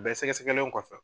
A bɛ sɛgɛsɛgɛlen kɔfɛ